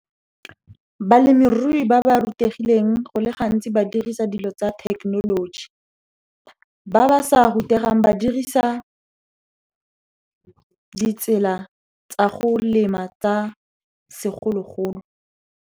Balemirui ba ba rutegileng go le gantsi ba dirisa dilo tsa thekenoloji. Ba ba sa rutegang, ba dirisa ditsela tsa go lema tsa segologolo.